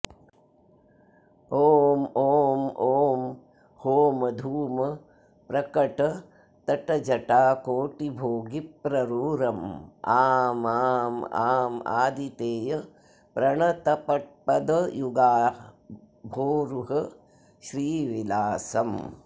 ॐ ॐ ॐ होमधूमप्रकटतटजटाकोटिभोगिप्रपूरं आं आं आं आदितेयप्रणतपदयुगांभोरुहश्रीविलासम्